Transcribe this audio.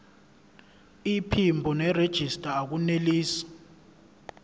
iphimbo nerejista akunelisi